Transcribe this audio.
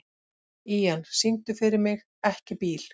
Ían, syngdu fyrir mig „Ekki bíl“.